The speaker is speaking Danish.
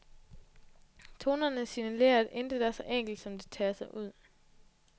Tonerne signalerer, at intet er så enkelt, som det tager sig ud.